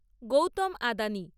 Gautam Adani